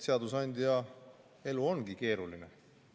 Seadusandja elu ongi keeruline.